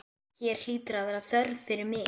Hér hlýtur að vera þörf fyrir mig.